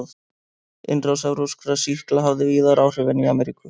Innrás evrópskra sýkla hafði víðar áhrif en í Ameríku.